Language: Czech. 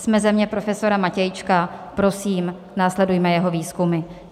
Jsme země profesora Matějčka, prosím, následujme jeho výzkumy.